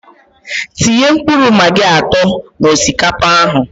Tinye mkpụrụ magi atọ na osikapa ahụ